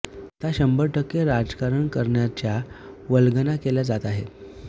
आता शंभर टक्के राजकारण करण्याच्या वल्गना केल्या जात आहेत